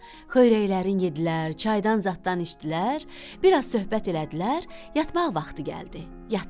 Xörəklərin yedilər, çaydan zaddan içdilər, biraz söhbət elədilər, yatmaq vaxtı gəldi, yatdılar.